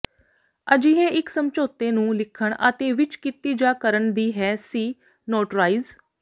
ਅਜਿਹੇ ਇੱਕ ਸਮਝੌਤੇ ਨੂੰ ਲਿਖਣ ਅਤੇ ਵਿੱਚ ਕੀਤੀ ਜਾ ਕਰਨ ਦੀ ਹੈ ਸੀ ਨੋਟਰਾਈਜ਼